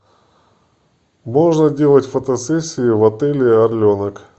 можно делать фотосессии в отеле орленок